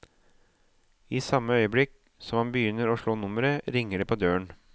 I samme øyeblikk som han begynner å slå nummeret, ringer det på døren.